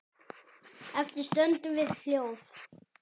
Eftir stöndum við hljóð.